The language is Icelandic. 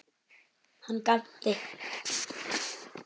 Hann gapti.